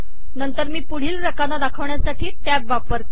नंतर मी पुढील रकाना दाखवण्यासाठी टॅब वापरते